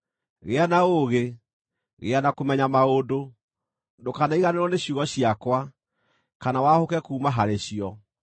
Gĩa na ũũgĩ, gĩa na kũmenya maũndũ; ndũkanariganĩrwo nĩ ciugo ciakwa, kana wahũke kuuma harĩ cio.